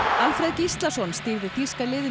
Alfreð Gíslason stýrði þýska liðinu